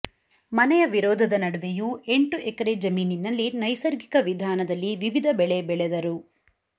ಮನೆಯ ವಿರೋಧದ ನಡುವೆಯೂ ಎಂಟು ಎಕರೆ ಜಮೀನಿನಲ್ಲಿ ನೈಸರ್ಗಿಕ ವಿಧಾನದಲ್ಲಿ ವಿವಿಧ ಬೆಳೆ ಬೆಳೆದರು